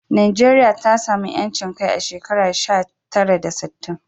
Najeriya ta samu 'yancin kai a shekara sha tara da sittin.